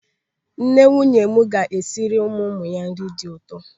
Nne nwunye m ga-esiri ụmụ ụmụ ya nri dị ụtọ.